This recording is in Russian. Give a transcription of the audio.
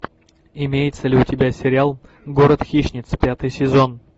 имеется ли у тебя сериал город хищниц пятый сезон